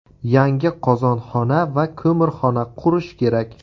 Yangi qozonxona va ko‘mirxona qurish kerak.